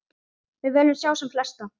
Við viljum sjá sem flesta.